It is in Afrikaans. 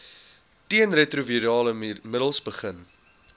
teenretrovirale middels begin